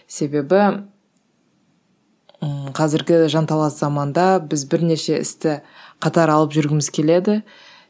себебі ыыы қазіргі жанталас заманда біз бірнеше істі қатар алып жүргіміз келеді